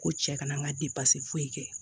Ko cɛ kana n ka fosi kɛ